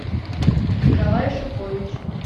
николай шипович